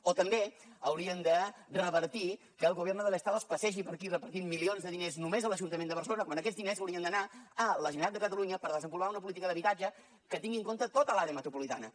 o també haurien de revertir que el gobierno del estado es passegi per aquí repartint milions de diners només a l’ajuntament de barcelona quan aquests diners haurien d’anar a la generalitat de catalunya per desenvolupar una política d’habitatge que tingui en compte tota l’àrea metropolitana